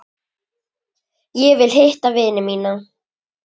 Ég vil hitta vini mína.